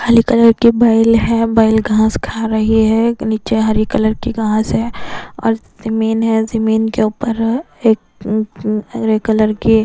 कालीकलर की बैल है बैल घास खा रही है नीचे हरी कलर की घास है और जमीन है जमीन के ऊपर एक ग्रे कलर के--